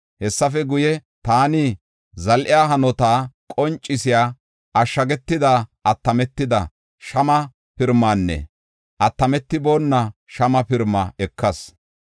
Hessafe guye, taani zal7iya hanota qoncisiya ashshagetidi attametida shama pirimaanne attametiboona shama pirimaa ekas.